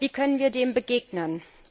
Wie können wir dem begegnen?